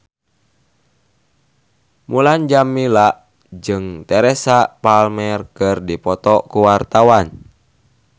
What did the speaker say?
Mulan Jameela jeung Teresa Palmer keur dipoto ku wartawan